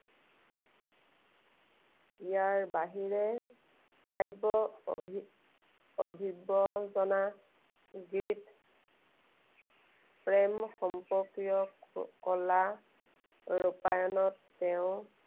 ইয়াৰ বাহিৰে কাব্য অভি~ অভিবদনা প্ৰেম সম্পৰ্কীয় কলা ৰূপায়ণত তেওঁ